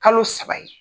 Kalo saba ye